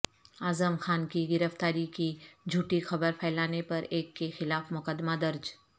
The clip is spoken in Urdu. اعظم خان کی گرفتاری کی جھوٹی خبر پھیلانے پر ایک کے خلاف مقدمہ درج